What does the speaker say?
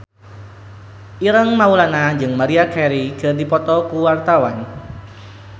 Ireng Maulana jeung Maria Carey keur dipoto ku wartawan